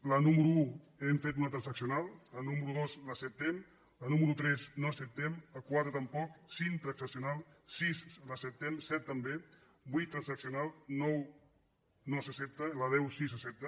a la número un hem fet una transaccional la número dos l’acceptem la nú·mero tres no l’acceptem la quatre tampoc cinc transaccional sis l’acceptem set també vuit transaccional nou no s’ac·cepta la deu sí que s’accepta